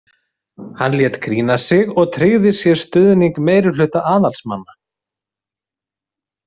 Hann lét krýna sig og tryggði sér stuðning meirihluta aðalsmanna.